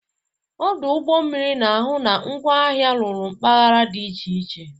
Ọdụ ụgbọ mmiri na-ahụ na ngwaahịa ruru mpaghara dị iche iche.